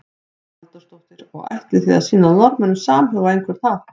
Hugrún Halldórsdóttir: Og ætlið þið að sýna Norðmönnum samhug á einhvern hátt?